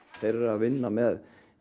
þeir eru að vinna með